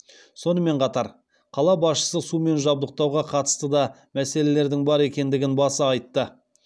сонымен қатар қала басшысы сумен жабдықтауға қатысты да мәселелердің бар екендігін баса айтты